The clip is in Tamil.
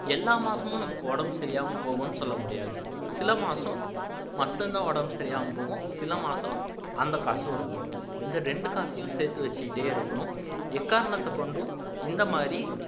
எல்லா மாசமும் நமக்கு உடம்பு சரியில்லாம போகும்னு சொல்ல முடியாது சில மாசம் மட்டுந்தான் உடம்பு சரியில்லாம போகும் சிலமாசம் அந்த காசும் இருக்கும் இந்த இரண்டு காசையும் சேர்த்து வச்சுகிட்டே இருக்கணும் எக்காரணத்தை கொண்டும் இந்த மாதிரி